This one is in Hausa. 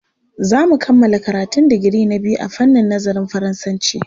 Za mu kammala karatun digiri na biyu a fannin nazarin Faransanci.